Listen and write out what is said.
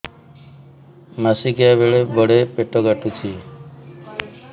ମାସିକିଆ ବେଳେ ବଡେ ପେଟ କାଟୁଚି